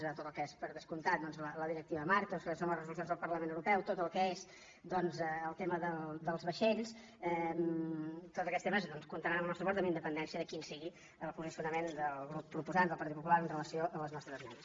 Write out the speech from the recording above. tot el que és per descomptat doncs la directiva marc i el que són les resolucions del parlament europeu tot el que és el tema dels vaixells tots aquests temes comptaran amb el nostre suport amb independència de quin sigui el posicionament del grup proposant del partit popular amb relació a les nostres esmenes